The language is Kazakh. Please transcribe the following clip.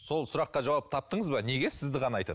сол сұраққа жауап таптыңыз ба неге сізді ғана айтады